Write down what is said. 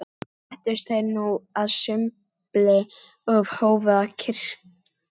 Settust þeir nú að sumbli og hófu að kyrja